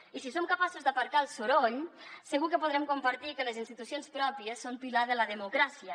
i si som capaços d’aparcar el soroll segur que podrem compartir que les institucions pròpies són pilar de la democràcia